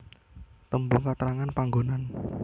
Tembung katrangan panggonan